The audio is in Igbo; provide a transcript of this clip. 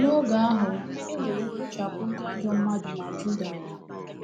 N’oge ahụ, e nwere mkpochapụ’ ndị ajọ mmadụ na Juda.